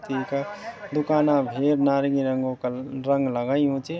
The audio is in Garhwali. तींका दुकाना भेर नारंगी रंगो कलर रंग लगायूँ च।